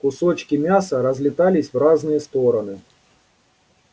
кусочки мяса разлетались в разные стороны